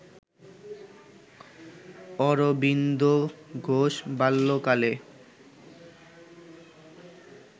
অরবিন্দ ঘোষ বাল্যকালে